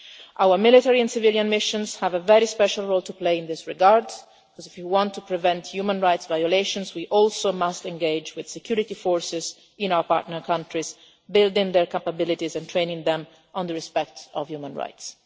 Our military and civilian missions have a very special role to play in this regard because, if we want to prevent human rights violations, we must also engage with security forces in our partner countries, building their capabilities and training them in respect for human rights.